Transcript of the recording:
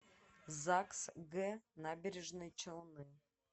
загс г набережные челны